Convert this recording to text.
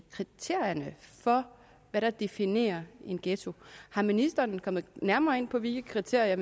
kriterierne for hvad der definerer en ghetto er ministeren kommet nærmere ind på hvilke kriterier